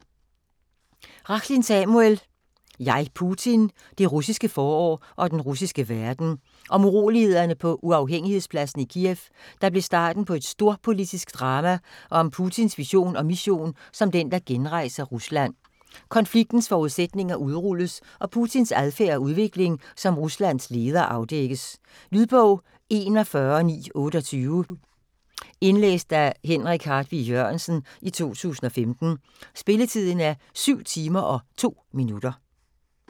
Rachlin, Samuel: Jeg, Putin: det russiske forår og den russiske verden Om urolighederne på Uafhængighedspladsen i Kiev, der blev starten på et storpolitisk drama og om Putins vision og mission som den, der genrejser Rusland. Konfliktens forudsætninger udrulles og Putins adfærd og udvikling som Ruslands leder afdækkes. Lydbog 41928 Indlæst af Henrik Hartvig Jørgensen, 2015. Spilletid: 7 timer, 2 minutter.